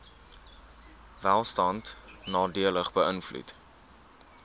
welstand nadelig beïnvloed